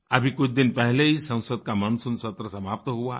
अभी कुछ दिन पहले ही संसद का मानसून सत्र समाप्त हुआ है